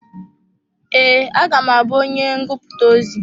Ee, a ga m abú onye ngụputa ozi.